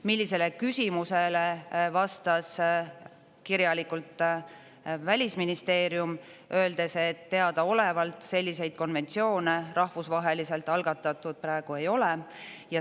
Sellele küsimusele vastas kirjalikult Välisministeerium, öeldes, et teadaolevalt selliseid konventsioone rahvusvaheliselt algatatud praegu ei ole.